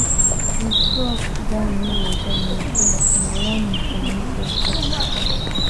if frog die near your door na door na warning from ancestors